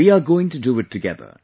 We're going to do it together